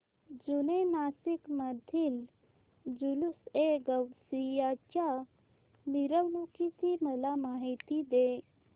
जुने नाशिक मधील जुलूसएगौसिया च्या मिरवणूकीची मला माहिती दे